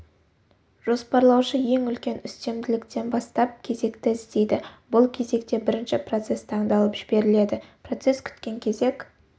жоспарлаушы ең үлкен үстемділіктен бастап кезекті іздейді бұл кезекте бірінші процесс таңдалып жіберіледі процесс күткен кезек